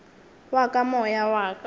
wa ka moya wa ka